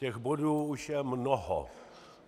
Těch bodů už je mnoho.